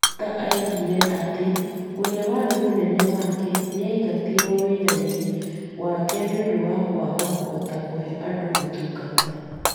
Muktar oigire atĩ ũrĩa warĩ mũnene wake nĩ aingatirwo wĩra-inĩ wake nĩ ũndũ wa kwaga kũhota kũhe andũ ũtungata.